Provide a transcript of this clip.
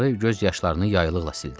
Qarı göz yaşlarını yaylıqla sildi.